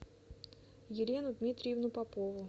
елену дмитриевну попову